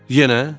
Yenə?